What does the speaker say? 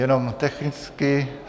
Jenom technicky.